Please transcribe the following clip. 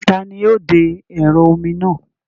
Taani yóò de ẹ̀rọ omi náà?